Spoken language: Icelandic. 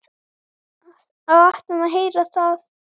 Og áttum að heyra það.